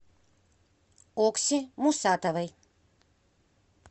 окси мусатовой